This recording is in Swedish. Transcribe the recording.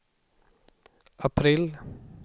april